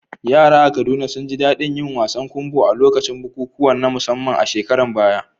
Yara a Kaduna sun ji daɗin yin wasan kumbo a lokacin bukukuwa na musamman a shekarun baya.